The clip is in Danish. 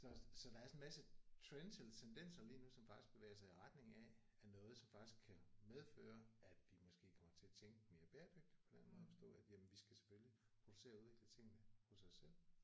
Så så der er sådan en masse trends eller tendenser lige nu som faktisk bevæger sig i retning af af noget som faktisk kan medføre at vi måske kommer til at tænke mere bæredygtigt på den måde at forstå at jamen vi skal selvfølgelig producere og udvikle tingene hos os selv